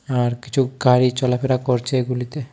আর কিছু গাড়ি চলাফেরা করছে এগুলিতে।